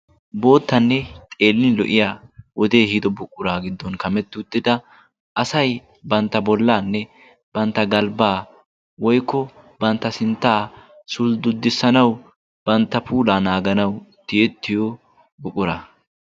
boottanne xeelini lo77iya wodee hiido buqquraa giddon kametti uttida asai bantta bollaanne bantta galbbaa woikko bantta sinttaa sulddudissanau bantta puulaa naaganau tiyettiyo buqquraa.